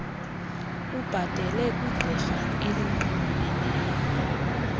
ubhatele kwigqirha elinxulumeneyo